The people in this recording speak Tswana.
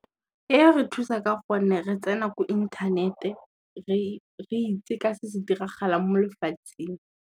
E ya re thusa ka gonne re tsena ko inthanete re itse ka se se diragalang mo lefatsheng.